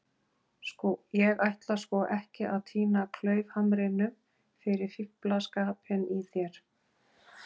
. ég ætla sko ekki að týna klaufhamrinum fyrir fíflaskapinn í þér.